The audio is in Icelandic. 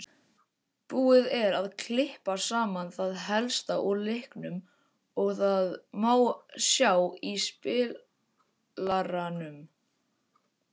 Búið er að klippa saman það helsta úr leiknum og það má sjá í spilaranum.